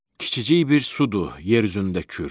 Kiçicik bir sudur yer üzündə Kür.